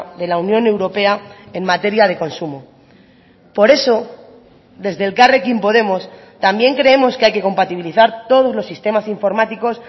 de la unión europea en materia de consumo por eso desde elkarrekin podemos también creemos que hay que compatibilizar todos los sistemas informáticos